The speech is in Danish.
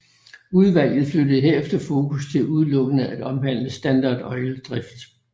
Udvalget flyttede herefter fokus til udelukkende at omhandle Standard Oils drift